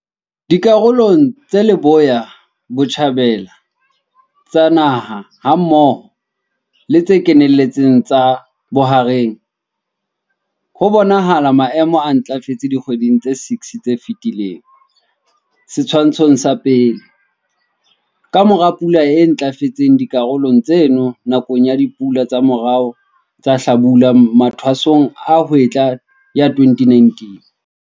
Dikarolong tse leboya-botjhabela tsa naha hammoho le tse kenelletseng tsa bohareng, ho bonahala maemo a ntlafetseng dikgweding tse 6 tse fetileng, Setshwantsho sa 1, ka mora pula e ntlafetseng dikarolong tseno nakong ya dipula tsa morao tsa hlabula-mathwasong a hwetla ya 2019.